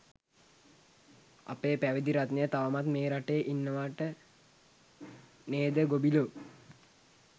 අපේ පැවිදි රත්නය තවමත් මේ රටේ ඉන්නවට නේද ගොබිලෝ?